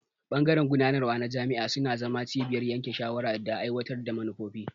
Bangaren gudanarwa na jami'a suna zama cibiyar yanke shawara da aiwatar da manufofi.